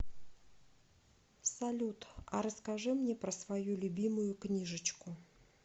салют а расскажи мне про свою любимую книжечку